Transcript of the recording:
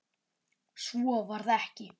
Svo varð ekki.